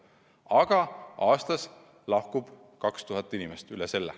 Aga aastas lahkub üle 2000 inimese.